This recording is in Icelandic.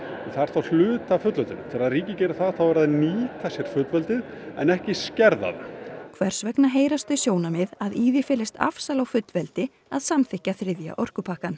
það er þá hluti af fullveldinu þegar ríki gera það eru þau að nýta sér fullveldi en ekki skerða það hvers vegna heyrast þau sjónarmið að í því felist afsal á fullveldi að samþykkja þriðja orkupakkann